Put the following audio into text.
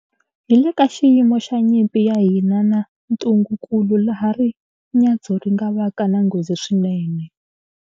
Hi le ka xiyimo xa nyimpi ya hina na ntungukulu laha rinyadzo ri nga vaka na nghozi swinene.